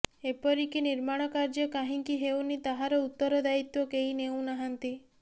ଏପରିକି ନିର୍ମାଣ କାର୍ଯ୍ୟ କାହିଁକି ହେଉନି ତାହାର ଉତ୍ତର ଦାୟିତ୍ୱ କେହି ନେଉନାହାନ୍ତି